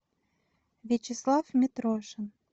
вячеслав митрошин